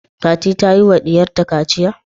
Fati ta yiwa diyarta kaciya?